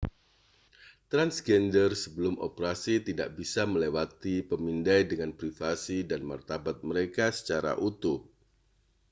transgender sebelum operasi tidak bisa melewati pemindai dengan privasi dan martabat mereka secara utuh